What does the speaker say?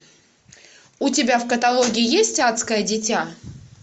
у тебя в каталоге есть адское дитя